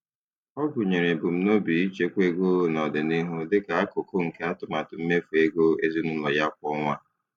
Ọ gụnyere ebumnobi ichekwa ego n'ọdịnihu dịka akụkụ nke atụmatụ mmefu ego ezinụlọ ya kwa ọnwa.